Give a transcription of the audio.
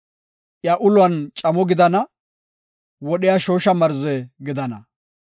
iya uluwan camo gidana; wodhiya shoosha marze gidana.